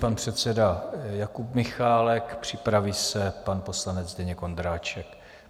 Pan předseda Jakub Michálek, připraví se pan poslanec Zdeněk Ondráček.